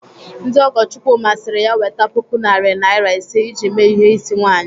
Ndị ọgọ Chukwuma siri ya weta puku narị naira ise iji mee ihe ịsị nwaanyị.